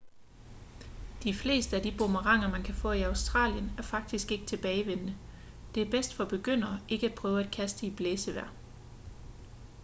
de fleste af de boomeranger man kan få i australien er faktisk ikke-tilbagevendende det er bedst for begyndere ikke at prøve at kaste i blæsevejr